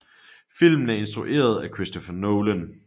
Filmen er instrueret af Christopher Nolan